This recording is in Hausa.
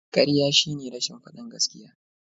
Kariya shine rashin fadin gaskiya.